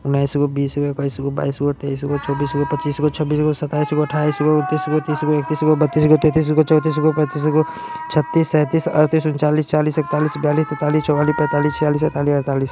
उन्नीसगो बीसगो इक्कीसगो बाईसगो तेईसगो चौबीसगो पच्चीसगो छब्बीसगो सत्ताईसगो अठ्ठाईसगो उनतीसगो तीसगो इकतीगोस बत्तीसगो तैंतीसगो चौंतीसगो पैंतीसगो छत्तीस सैंतीस अड़तीस उनचालीस चालीस इकतालीस बयालीस तियालीस चौवालीस पैंतालीस छियालीस सैंतालीस अड़तालीस --